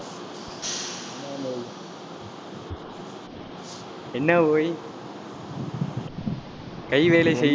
என்ன ஒய் கை வேலை செய்~